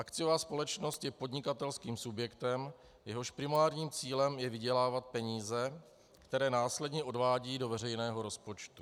Akciová společnost je podnikatelským subjektem, jehož primárním cílem je vydělávat peníze, které následně odvádí do veřejného rozpočtu.